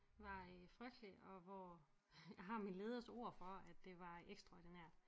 Var øh frygtelig og hvor jeg har min leders ord for at det var ekstraordinært